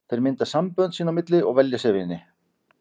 Þeir mynda sambönd sín á milli og velja sér vini.